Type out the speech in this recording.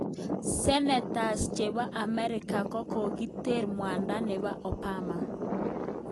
Senetas chepo amerika kokoter mwada nepo Obama.